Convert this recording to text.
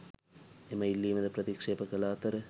එම ඉල්ලීමද ප්‍රතික්‍ෂේප කළ අතර